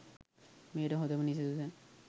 මෙයට හොඳම නිදසුන